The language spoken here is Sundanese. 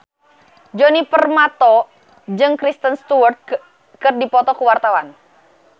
Djoni Permato jeung Kristen Stewart keur dipoto ku wartawan